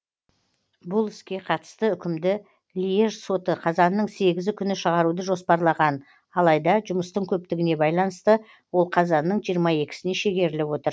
бұл іске қатысты үкімді льеж соты қазанның сегізі күні шығаруды жоспарлаған алайда жұмыстың көптігіне байланысты ол қазанның жиырма екісіне шегеріліп отыр